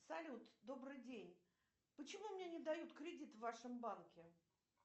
салют добрый день почему мне не дают кредит в вашем банке